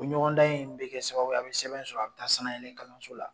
U ɲɔgɔndan in bɛ kɛ sababu ye a bɛ sɛbɛn sɔrɔ a bɛ taa sanayɛlɛ kalanso la.